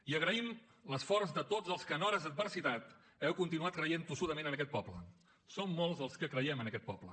i agraïm l’esforç de tots els que en hores d’adversitat heu continuat creient tossudament en aquest poble som molts els que creiem en aquest poble